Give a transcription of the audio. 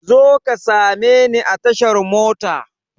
Zo ka same ni a tashar mota!